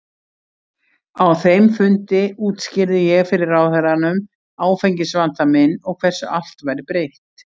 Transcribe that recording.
Á þeim fundi útskýrði ég fyrir ráðherranum áfengisvanda minn og hversu allt væri breytt.